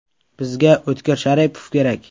Bizga O‘tkir Sharipov kerak.